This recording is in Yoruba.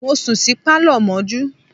Mo sùn sí Pálọ̀ mọ́jú.